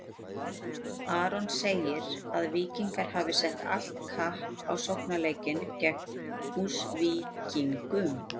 Aron segir að Víkingar hafi sett allt kapp á sóknarleikinn gegn Húsvíkingum.